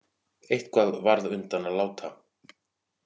Eitthvað varð undan að láta